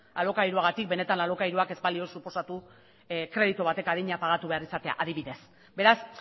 alokairuagatik benetan alokairua ez balio suposatu kreditu batek adina pagatu behar izatea adibidez beraz